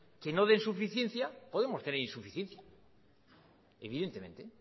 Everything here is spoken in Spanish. que no den suficiencia podemos tener insuficiencia evidentemente